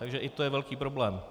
Takže i to je velký problém.